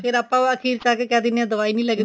ਫੇਰ ਆਪਾਂ ਅਖੀਰ ਆ ਆ ਕੇ ਕਹਿ ਦਿੰਨੇ ਹਾਂ ਦਵਾਈ ਨੀ ਲੱਗਦੀ